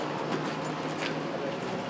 Bu da normaldır, qeyri-normaldır.